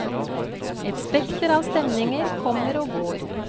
Et spekter av stemninger kommer og går.